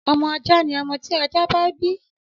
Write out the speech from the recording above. Ọmọ ajá ni ọmọ tí ajá bá bí.